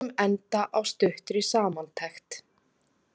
Við skulum enda á stuttri samantekt.